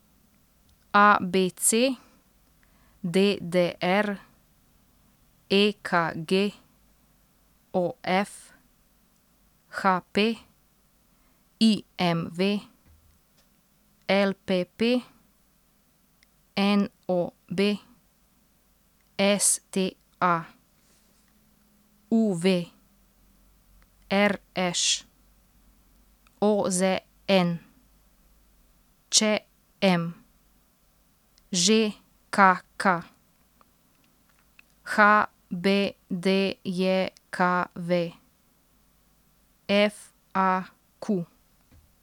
A B C; D D R; E K G; O F; H P; I M V; L P P; N O B; S T A; U V; R Š; O Z N; Č M; Ž K K; H B D J K V; F A Q.